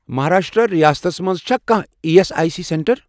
مہاراشٹرٛا ریاستس مَنٛز چھا کانٛہہ E S I C centre?